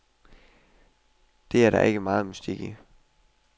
Det er der ikke megen mystik i.